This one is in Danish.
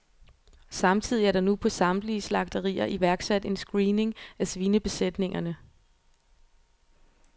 Samtidig er der nu på samtlige slagterier iværksat en screening af svinebesætningerne.